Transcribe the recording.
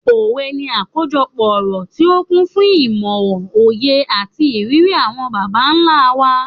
Òwe ni àkójọpọ̀ ọ̀rọ̀ tí ó kún fún ìmò, òye, àti ìrírí àwọn bàbá ńlá wa.